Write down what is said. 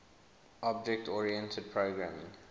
object oriented programming